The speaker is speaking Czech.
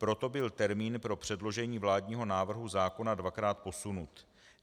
Proto byl termín pro předložení vládního návrhu zákona dvakrát posunut.